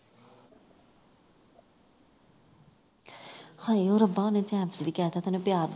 ਹਾਏ ਓਏ ਰਬਾ ਉਹਨੇ time ਸੀਰ ਵੀ ਕਹਿਤਾ ਤੇ ਉਸਨੇ ਪਿਆਰ ਦੇ ਤਾ